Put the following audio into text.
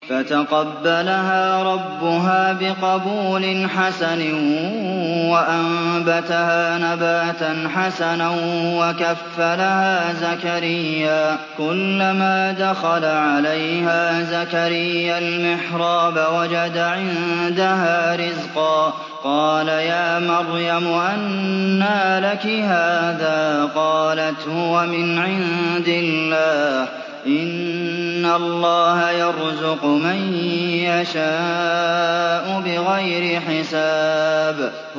فَتَقَبَّلَهَا رَبُّهَا بِقَبُولٍ حَسَنٍ وَأَنبَتَهَا نَبَاتًا حَسَنًا وَكَفَّلَهَا زَكَرِيَّا ۖ كُلَّمَا دَخَلَ عَلَيْهَا زَكَرِيَّا الْمِحْرَابَ وَجَدَ عِندَهَا رِزْقًا ۖ قَالَ يَا مَرْيَمُ أَنَّىٰ لَكِ هَٰذَا ۖ قَالَتْ هُوَ مِنْ عِندِ اللَّهِ ۖ إِنَّ اللَّهَ يَرْزُقُ مَن يَشَاءُ بِغَيْرِ حِسَابٍ